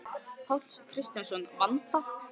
Páll Kristjánsson: Vanda?